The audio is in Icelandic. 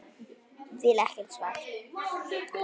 Vill ekkert svar.